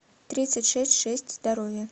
тридцать шесть шесть здоровье